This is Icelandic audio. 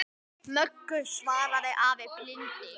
Möggu, svaraði afi blindi.